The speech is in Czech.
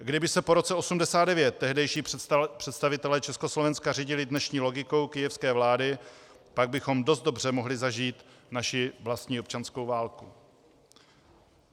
Kdyby se po roce 1989 tehdejší představitelé Československa řídili dnešní logikou kyjevské vlády, pak bychom dost dobře mohli zažít naši vlastní občanskou válku.